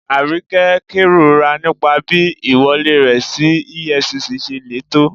Aríkẹ́ n kẹrọ̀rà nípà bí iwọ̀lẹ̀ rẹ sí EFCC ṣè lé tó.